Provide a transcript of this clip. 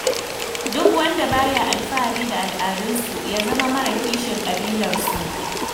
Duk wanda ba ya alfahari da al'adunsu, ya zama mara kishin ƙabilarsu.